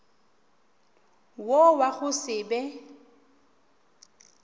wo wa go se be